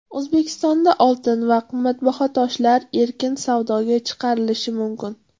O‘zbekistonda oltin va qimmatbaho toshlar erkin savdoga chiqarilishi mumkin.